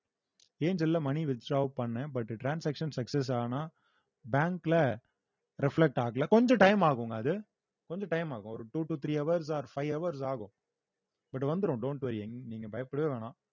ஏஞ்சல்ல money withdraw பண்ணேன் but transaction success ஆனா bank ல reflect ஆகல கொஞ்சம் time ஆகுங்க அது கொஞ்சம் time ஆகும் ஒரு two to three hours or five hours ஆகும் but வந்துரும் don't worry எங்~ நீங்க பயப்படவே வேணாம்